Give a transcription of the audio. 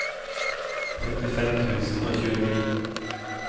femtifem tusen og tjueni